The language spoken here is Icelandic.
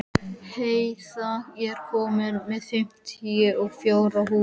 Heiða, ég kom með fimmtíu og fjórar húfur!